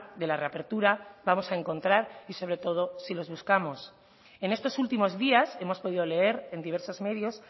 de la reapertura vamos a encontrar y sobre todo si los buscamos en estos últimos días hemos podido leer en diversos medios